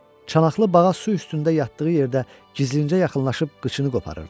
Çanaqlı bağa su üstündə yatdığı yerdə gizlincə yaxınlaşıb qıçını qoparırdılar.